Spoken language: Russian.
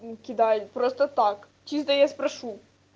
кидай просто так чисто я спрошу